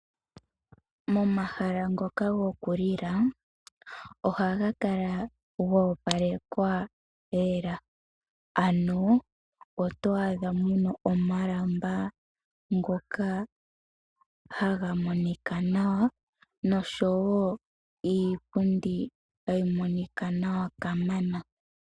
Momahala ngoka gokulila ohaga kala goopalekwa lela. Oto adha muna omalamba ngoka haga monika nawa noshowo iipundi hayi monika nawa kamana.